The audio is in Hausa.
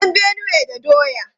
An san Benue da doya.